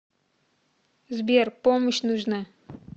сбер помощь нужна